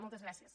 moltes gràcies